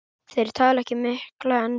Þeir tala ekki mikla ensku.